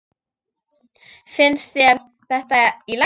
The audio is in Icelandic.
Finnst þér þetta í lagi?